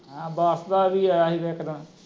ਹੈਂ ਬਾਰਸ ਦਾ ਵੀ ਆਇਆ ਸੀ ਇਕ ਦਿਨ